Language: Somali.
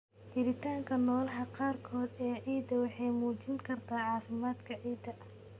Jiritaanka noolaha qaarkood ee ciidda waxay muujin kartaa caafimaadka ciidda.